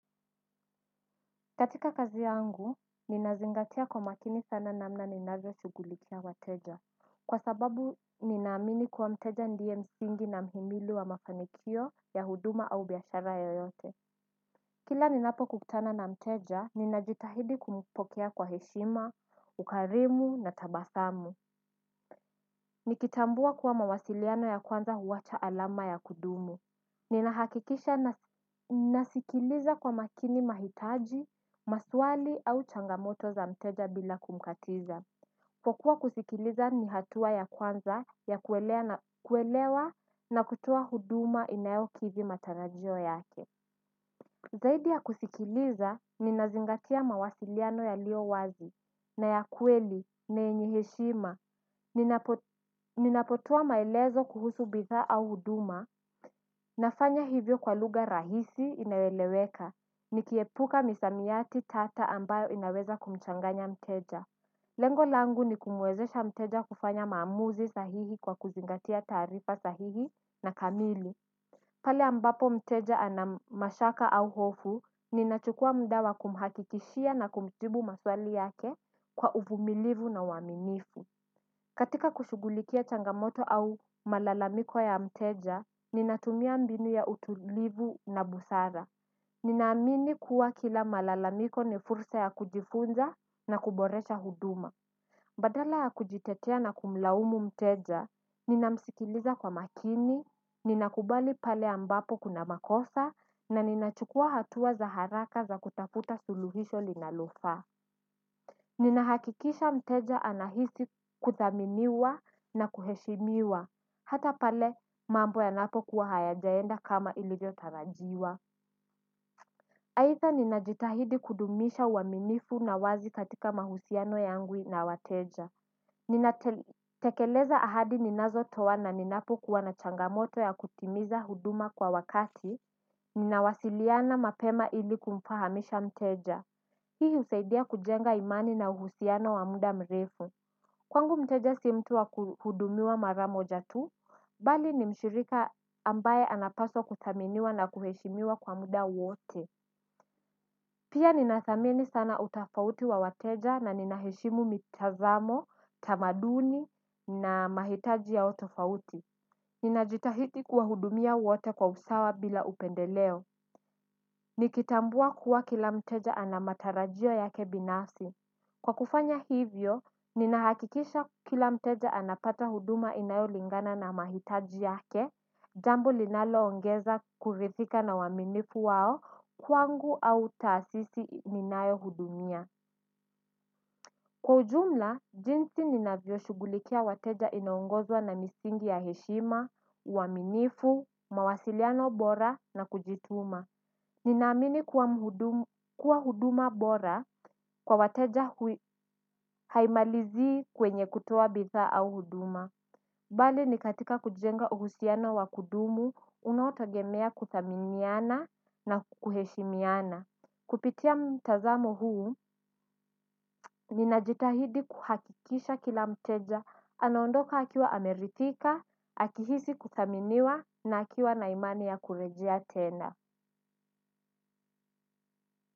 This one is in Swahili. Katika kazi yangu, ninazingatia kwa makini sana namna ninavyo shugulikia wateja. Kwa sababu, ninaamini kuwa mteja ndiye msingi na mhimili wa mafanikio ya huduma au biashara yoyote. Kila ninapo kutana na mteja, ninajitahidi kumpokea kwa heshima, ukarimu na tabasamu. Nikitambua kuwa mawasiliano ya kwanza huwacha alama ya kudumu. Nina hakikisha nasikiliza kwa makini mahitaji, maswali au changamoto za mteja bila kumkatiza kwa kuwa kusikiliza ni hatua ya kwanza ya kuelewa na kutoa huduma inayo kidhi matarajio yake. Zaidi ya kusikiliza, nina zingatia mawasiliano yalio wazi na ya kweli na yenye heshima. Ninapotoa maelezo kuhusu bidhaa au huduma nafanya hivyo kwa lugha rahisi inayoeleweka. Nikiepuka misamiati tata ambayo inaweza kumchanganya mteja lengo langu ni kumuwezesha mteja kufanya maamuzi sahihi kwa kuzingatia taarifa sahihi na kamili. Pale ambapo mteja ana mashaka au hofu ninachukua muda kumhakikishia na kumjibu maswali yake kwa uvumilivu na uaminifu. Katika kushugulikia changamoto au malalamiko ya mteja, ninatumia mbinu ya utulivu na busara. Ninaamini kuwa kila malalamiko ni fursa ya kujifunza na kuboresha huduma. Badala ya kujitetea na kumlaumu mteja, ninamsikiliza kwa makini, ninakubali pale ambapo kuna makosa na ninachukua hatua za haraka za kutafuta suluhisho linalofaa. Nina hakikisha mteja anahisi kuthaminiwa na kuheshimiwa. Hata pale mambo yanapo kuwa hayajaenda kama ilivyo tarajiwa haidha ninajitahidi kudumisha uaminifu na wazi katika mahusiano yangu na wateja. Ninatekeleza ahadi ninazo toa na ninapo kuwa na changamoto ya kutimiza huduma kwa wakati. Nina wasiliana mapema ili kumfahamisha mteja. Hii husaidia kujenga imani na uhusiano wa muda mrefu. Kwangu mteja si mtu wa kuhudumiwa maramoja tu. Bali ni mshirika ambaye anapaswa kuthaminiwa na kuheshimiwa kwa muda wote. Pia ninathamini sana utofauti wa wateja na ninaheshimu mitazamo, tamaduni na mahitaji ya utofauti. Ninajitahidi kuwahudumia wote kwa usawa bila upendeleo. Nikitambua kuwa kila mteja ana matarajio yake binafsi kwa kufanya hivyo, ninahakikisha kila mteja anapata huduma inayo lingana na mahitaji yake, jambo linalo ongeza kuridhika na uaminifu wao kwangu au tasisi ninayo hudumia. Kwa ujumla, jinsi ninavyo shugulikia wateja inaongozwa na misingi ya heshima, uaminifu, mawasiliano bora na kujituma. Ninaamini kuwa huduma bora kwa wateja haimalizii kwenye kutoa bidhaa au huduma. Bali ni katika kujenga uhusiano wa kudumu unaotegemea kudhaminiana na kuheshimiana. Kupitia mtazamo huu, ninajitahidi kuhakikisha kila mteja anaondoka akiwa ameridhika, akihisi kudhaminiwa na akiwa na imani ya kurejea tena.